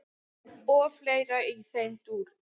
og fleira í þeim dúr.